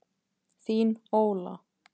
Þín, Óla.